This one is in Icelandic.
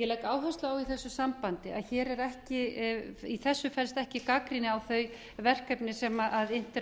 ég legg áherslu á í þessu sambandi að í þessu felst ekki gagnrýni á þau verkefni sem innt eru af